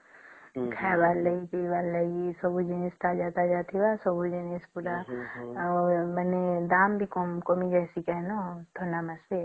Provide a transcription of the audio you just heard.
ଖାଇବାର ଲାଗି ପିଇବାର ଲାଗି ସବୁ ଜିନିଷ ଟା ତାଜା ତାଜା ଥିବା ସବୁ ଜିନିଷ ଟା ଦାମ ବି କମି ଯେଇଁସନ ନ ଥଣ୍ଡା ମାସେ